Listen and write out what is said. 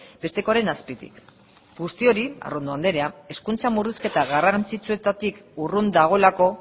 bestekoaren azpitik guzti hori arrondo andrea hezkuntza murrizketa garrantzitsuetatik urrun dagoelako